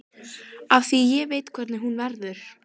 Af því ég veit hvernig hún verður.